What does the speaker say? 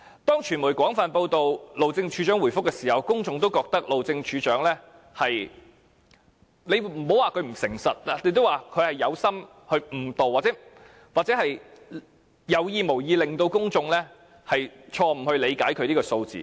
當傳媒廣泛報道，路政署署長答覆時，公眾也認為路政署署長有點不誠實，不知是否蓄意誤導，或有意無意令公眾錯誤理解他所說的數字。